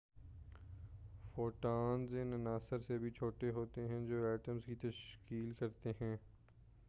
photons ان عناصر سے بھی چھوٹے ہوتے ہیں جو ایٹمز کی تشکیل کرتے ہیں